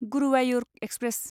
Guruvayur express